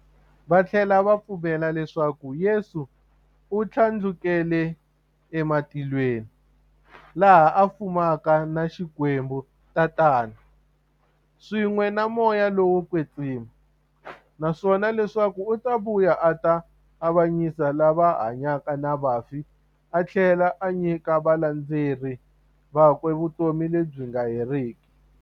Vathlela va pfumela leswaku Yesu u thlandlukele e matilweni, laha a fumaka na Xikwembu-Tatana, swin'we na Moya lowo kwetsima, naswona leswaku u ta vuya a ta avanyisa lava hanyaka na vafi athlela a nyika valandzeri vakwe vutomi lebyi nga heriki.